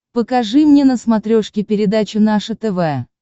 покажи мне на смотрешке передачу наше тв